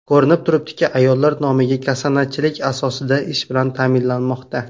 Ko‘rinib turibdiki, ayollar nomiga kasanachilik asosida ish bilan ta’minlanmoqda.